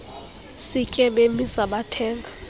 sitye bemisa bathenga